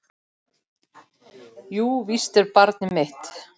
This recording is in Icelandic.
Jú, víst er barnið mitt.